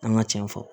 An ka cɛn fɔ